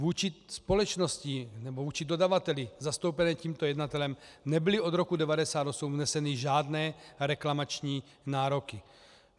Vůči společnosti, nebo vůči dodavateli zastoupenému tímto jednatelem nebyly od roku 1998 vzneseny žádné reklamační nároky.